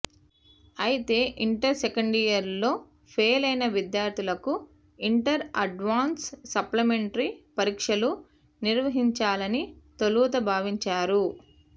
అయితే inter second year లో ఫెయిలైన విద్యార్థులకు ఇంటర్ అడ్వాన్స్డ్ సప్లిమెంటరీ పరీక్షలు నిర్వహించాలని తొలుత భావించారు